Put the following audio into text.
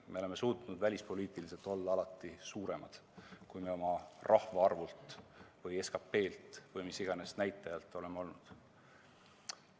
Me oleme suutnud välispoliitiliselt olla alati suuremad, kui me oma rahvaarvult või SKT-lt või mis iganes näitajalt oleme olnud.